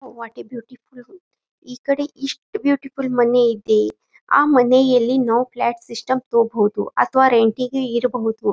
ವಾಟೆ beautiful ಈ ಕಡೆ ಇಷ್ಟ ಬ್ಯೂಟಿಫುಲ್ ಮನೆ ಇದೆ ಆ ಮನೆಯಲ್ಲಿ ನಾವು ಫ್ಲ್ಯಾಟ್ ಸಿಸ್ಟಮ್ ತೊಗೊಬಹುದು ಅಥವಾ ರೆಂಟ್ ಗೆ ಇರ್ಬಹುದು.